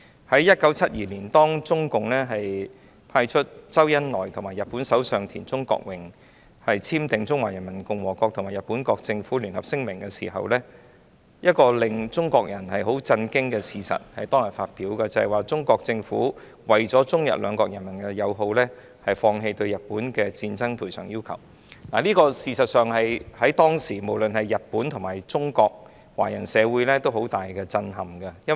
在1972年，當中共派出周恩來與日本首相田中角榮簽訂《中華人民共和國政府和日本國政府聯合聲明》的時候，亦同時發表了一個使中國人震驚的事實，就是中國政府為了中日兩國人民友好，決定放棄對日本的戰爭賠償要求，而這在當時的日本及中國華人社會均造成了極大震撼。